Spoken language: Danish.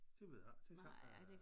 Det ved jeg ikke det er svært at